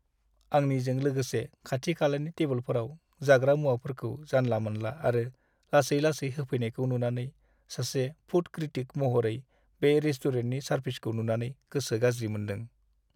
आंनिजों लोगोसे खाथि-खालानि टेबोलफोराव जाग्रा मुवाफोरखौ जानला-मोनला आरो लासै-लासै होफैनायखौ नुनानै सासे फुड क्रिटिक महरै बे रेस्टुरेन्टनि सारभिसखौ नुनानै गोसो गाज्रि मोनदों।